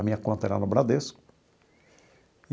A minha conta era no Bradesco.